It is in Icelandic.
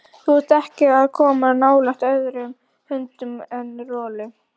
Þú átt ekki að koma nálægt öðrum hundum en Rolu.